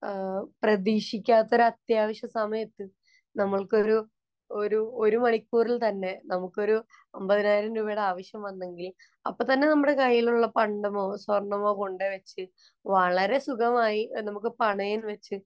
പ്രതീക്ഷിക്കാത്ത ഒരു അത്യാവശ്യ സമയത്ത് നമുക്കൊരു ഒരു ഒരു മണിക്കൂറില്‍ തന്നെ നമുക്കൊരു അമ്പതിനായിരം രൂപയുടെ ആവശ്യം വന്നെങ്കില്‍ അപ്പൊ തന്നെ നമ്മുടെ കൈയിലുള്ള പണ്ടമോ, സ്വര്‍ണമോ കൊണ്ട് വച്ച് വളരെ സുഗമമായി നമുക്ക് പണയം വച്ച്